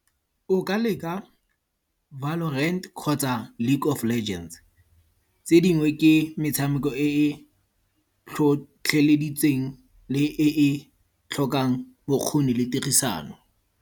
O ka leka Valorant kgotsa League of Legends. Tse dingwe ke metshameko e e tlhotlheleditseng le e e tlhokang bokgoni le tirisano.